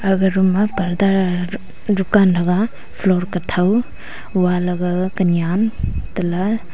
agaga room ma purda r-rukan thaga floor kathou walagaga kanyan tela--